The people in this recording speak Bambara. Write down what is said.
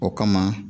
O kama